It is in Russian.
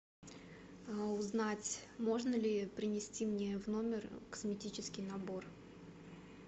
узнать можно ли принести мне в номер косметический набор